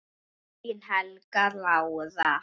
Þín, Helga Lára.